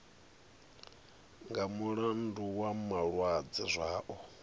nga mulandu wa malwadze zwao